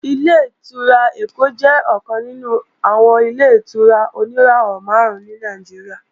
Ilé-ìtura Èkó jẹ́ ọ̀kan nínú àwọn Ilé-ìtura oníràwọ̀ máàrún ní Nàìjíríà